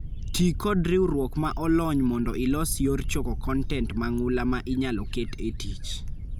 Tii kod riuuok ma olony' mondo ilos yoor choko kontent mang'ula ma inyalo ket e tich.